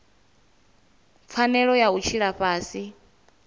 pfanelo ya u tshila fhasi